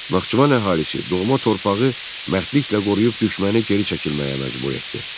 Naxçıvan əhalisi doğma torpağı mərdliklə qoruyub düşməni geri çəkilməyə məcbur etdi.